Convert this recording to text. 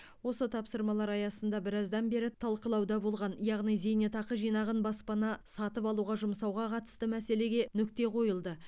осы тапсырмалар аясында біраздан бері талқылауда болған яғни зейнетақы жинағын баспана сатып алуға жұмсауға қатысты мәселеге нүкте қойылды